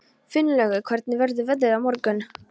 Finnlaugur, hvernig verður veðrið á morgun?